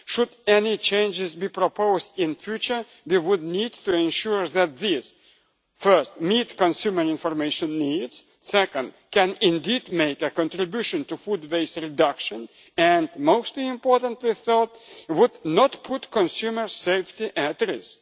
task. Should any changes be proposed in future, we would need to ensure that these, first, meet consumer information needs, second, can indeed make a contribution to food waste reduction, and most importantly third, would not put consumer safety at